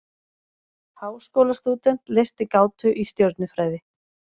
Háskólastúdent leysti gátu í stjörnufræði